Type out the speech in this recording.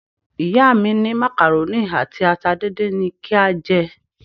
Ìyá mi ní macaroni àti ata díndín ni kí a jẹ.